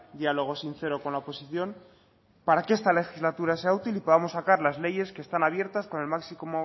diálogo sincero con la oposición para que esta legislatura sea útil y podamos sacar las leyes que están abiertas con el máximo